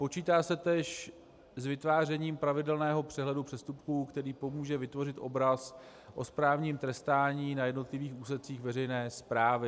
Počítá se též s vytvářením pravidelného přehledu přestupků, který pomůže vytvořit obraz o správním trestání na jednotlivých úsecích veřejné správy.